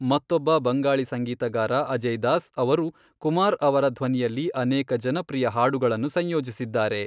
ಮತ್ತೊಬ್ಬ ಬಂಗಾಳಿ ಸಂಗೀತಗಾರ ಅಜಯ್ ದಾಸ್, ಅವರು ಕುಮಾರ್ ಅವರ ಧ್ವನಿಯಲ್ಲಿ ಅನೇಕ ಜನಪ್ರಿಯ ಹಾಡುಗಳನ್ನು ಸಂಯೋಜಿಸಿದ್ದಾರೆ.